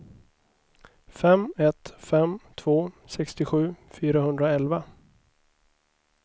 fem ett fem två sextiosju fyrahundraelva